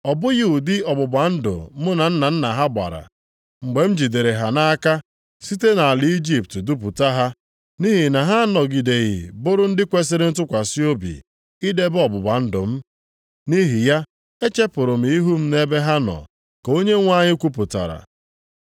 Ọ bụghị ụdị ọgbụgba ndụ mụ na nna nna ha gbara, mgbe m jidere ha nʼaka site nʼala Ijipt dupụta ha, nʼihi na ha anọgideghị bụrụ ndị kwesiri ntụkwasị obi idebe ọgbụgba ndụ m. Nʼihi ya, echepụrụ ihu m nʼebe ha nọ, ka Onyenwe anyị kwupụtara.